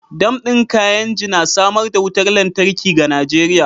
Dam din Kainji na samar da wutar lantarki ga Najeriya.